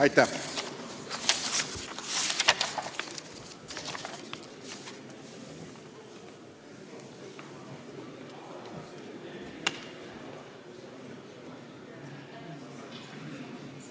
Aitäh!